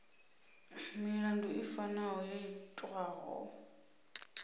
milandu i fanaho yo itwaho